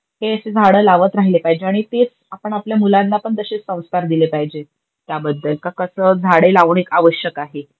हे अशे झाड लावत राहिले पाहिजे, आणि तेच आपण आपल्या मुलांनापण तशेच सौंस्कार दिले पाहिजे त्याबद्दल का कस झाडे लावण आवश्यक आहे.